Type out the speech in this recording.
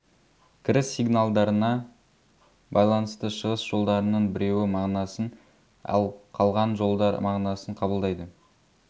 кіріс сигналдарына байланысты шығыс жолдарының біреуі мағынасын ал қалған жолдар мағынасын қабылдайды